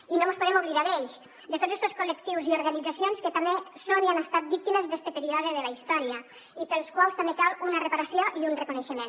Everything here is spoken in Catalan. i no mos podem oblidar d’ells de tots estos col·lectius i organitzacions que també són i han estat víctimes d’este període de la història i per als quals també cal una reparació i un reconeixement